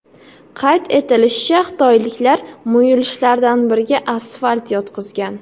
Qayd etilishicha, xitoyliklar muyulishlardan biriga asfalt yotqizgan.